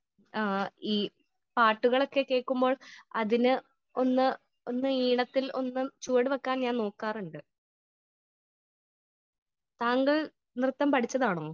Speaker 1 ആ ഈ പാട്ടുകളൊക്കെ കേൾക്കുമ്പോൾ അതിന് ഒന്ന് ഒന്ന് ഈണത്തിൽ ഒന്ന് ചുവട് വെക്കാൻ ഞാൻ നോക്കാറുണ്ട്. താങ്കൾ നൃത്തം പടിച്ചതാണോ ?